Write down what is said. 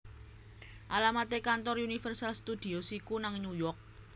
Alamat e kantor Universal Studios iku nang New York